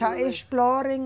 Já exploram...